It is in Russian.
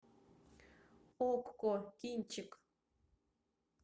окко кинчик